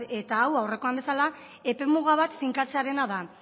eta hau aurrekoan bezala epemuga bat finkatzearena da